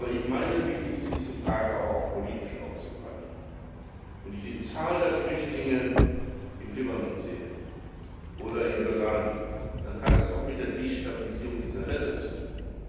Ich meine, es ist wichtig, diese Frage auch politisch aufzugreifen. Wenn ich die Zahl der Flüchtlinge im Libanon oder in Jordanien sehe, dann hat das auch mit der Destabilisierung dieser Länder zu tun.